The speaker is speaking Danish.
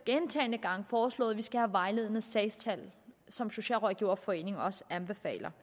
gentagne gange foreslået at vi skal have vejledende sagstal som socialrådgiverforeningen også anbefaler